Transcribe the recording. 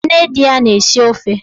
Nne di ya na-esi ofe